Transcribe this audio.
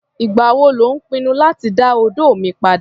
Ìgbà wo lò ń pinnu láti dá odó mi padà?